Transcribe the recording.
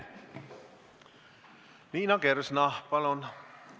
Liina Kersna, palun!